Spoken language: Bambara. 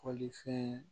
Kɔlifɛn